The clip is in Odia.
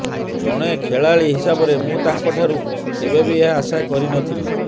ଜଣେ ଖେଳାଳି ହିସାବରେ ମୁଁ ତାଙ୍କଠାରୁ କେବେବି ଏହା ଆଶା କରିନଥିଲି